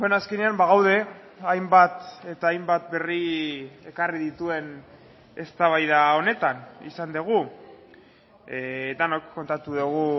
azkenean bagaude hainbat eta hainbat berri ekarri dituen eztabaida honetan izan dugu denok kontatu dugu